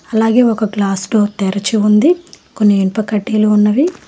అలాగే ఒక glass door తెరిచి ఉంది కొన్ని ఇనుప కడ్డీలు ఉన్నవి.